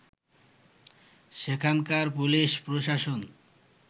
সেখানকার পুলিশ প্রশাসন